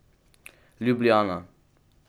Ljubljana.